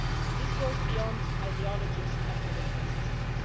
This goes beyond ideologies and political systems.